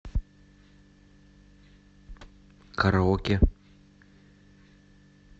караоке